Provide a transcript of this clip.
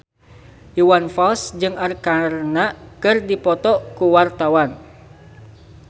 Iwan Fals jeung Arkarna keur dipoto ku wartawan